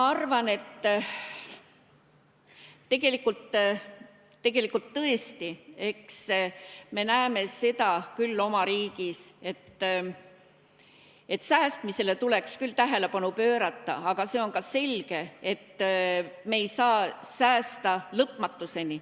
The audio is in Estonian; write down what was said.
Ma arvan, et tegelikult tõesti me näeme seda küll oma riigis, et säästmisele tuleks küll tähelepanu pöörata, aga see on ka selge, et me ei saa säästa lõpmatuseni.